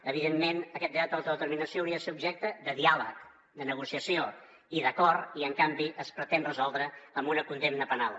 evidentment aquest dret a l’autodeterminació hauria de ser objecte de diàleg de negociació i d’acord i en canvi es pretén resoldre amb una condemna penal